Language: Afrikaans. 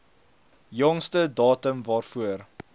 jongste datum waarvoor